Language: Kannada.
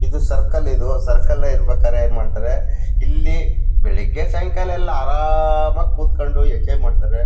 ಇದು ಸರ್ಕಲ್ ಇದು ಸರ್ಕಲೇ ಇರಬೇಕಾದ್ರೆ ಏನ್ ಮಾಡ್ತಾರೆ ಇಲ್ಲಿ ಬೆಳೆಗ್ಗೆ ಸಾಯಂಕಾಲ ಎಲ್ಲ ಆರಾಮಾಗಿ ಕೂತು ಕೊಂಡು ಎಂಜಾಯ್ ಮಾಡ್ತಾರೆ.